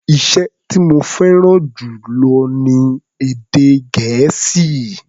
Iṣẹ́ tí mo fẹ́ràn jù lọ ni èdè Gẹ̀ẹ́sì.